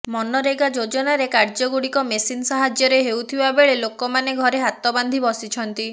ମନରେଗା ଯୋଜନାରେ କାର୍ଯ୍ୟଗୁଡିକ ମେସିନ ସାହାଯ୍ୟରେ ହେଉଥିବା ବେଳେ ଲୋକମାନେ ଘରେ ହାତ ବାନ୍ଧି ବସିଛନ୍ତି